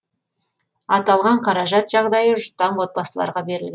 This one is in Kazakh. аталған қаражат жағдайы жұтаң отбасыларға берілген